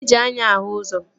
E ji anya ahụ ụzọ